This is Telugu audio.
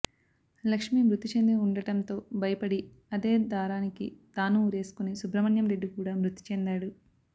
లక్ష్మీ మృతిచెంది ఉండటంతో భయపడి అదే దారానికి తానూ ఉరివేసుకొని సుబ్రహ్మణ్యం రెడ్డి కూడా మృతి చెందాడు